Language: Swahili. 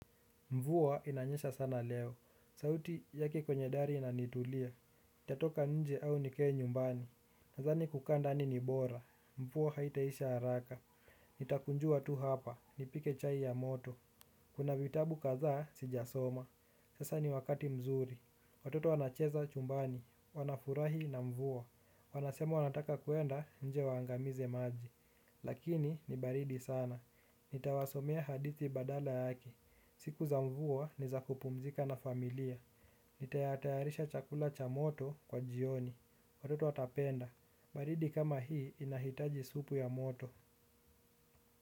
Mvua inanyesha sana leo, sauti yake kwenye dari inanitulia, nitatoka nje au nikae nyumbani. Nadhani kukaa ndani ni bora, mvua haitaisha haraka, nitakunjua tu hapa, nipike chai ya moto. Kuna vitabu kadhaa sijasoma, sasa ni wakati mzuri, watoto wanacheza chumbani, wanafurahi na mvua. Wanasema wanataka kuenda nje waangamize maji. Lakini ni baridi sana. Nitawasomea hadithi badala yake. Siku za mvua ni za kupumzika na familia. Nitatayarisha chakula cha moto kwa jioni. Watoto watapenda. Baridi kama hii inahitaji supu ya moto.